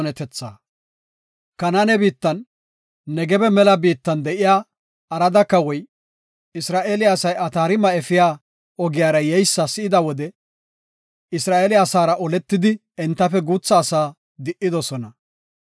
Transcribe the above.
Kanaane biittan, Negebe mela biittan de7iya Arada Kawoy, Isra7eele asay Ataarima efiya ogiyara yeysa si7ida wode Isra7eele asaara oletidi entafe guutha asaa di7idosona.